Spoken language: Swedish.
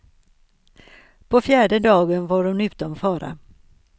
På fjärde dagen var hon utom fara.